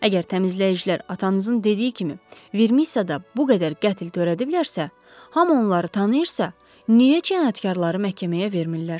Əgər təmizləyicilər atanızın dediyi kimi Vermissada bu qədər qətl törədiblərsə, Hamı onları tanıyırsa, niyə cinayətkarları məhkəməyə vermirlər?